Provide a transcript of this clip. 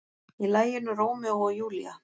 Í laginu Rómeó og Júlía.